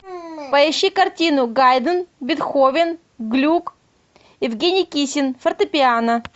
поищи картину гайден бетховен глюк евгений кисин фортепиано